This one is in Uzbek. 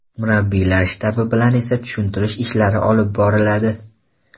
Murabbiylar shtabi bilan esa tushuntirish ishlari olib boriladi.